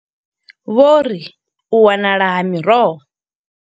Vho ri u wanala ha miroho.